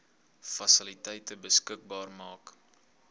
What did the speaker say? fasiliteite beskikbaar maak